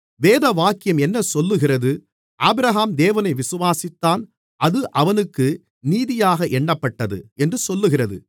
வேதவாக்கியம் என்ன சொல்லுகிறது ஆபிரகாம் தேவனை விசுவாசித்தான் அது அவனுக்கு நீதியாக எண்ணப்பட்டது என்று சொல்லுகிறது